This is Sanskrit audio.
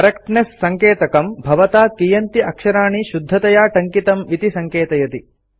करेक्टनेस सङ्केतकं भवता कियन्ति अक्षराणि शुद्धतया टङ्कितम् इति सङ्केतयति